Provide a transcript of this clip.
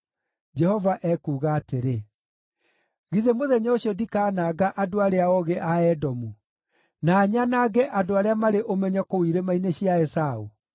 Jehova ekuuga atĩrĩ, “Githĩ mũthenya ũcio ndikaananga andũ arĩa oogĩ a Edomu, na nyanange andũ arĩa marĩ ũmenyo kũu irĩma-inĩ cia Esaũ?